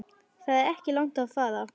Það er ekki langt að fara.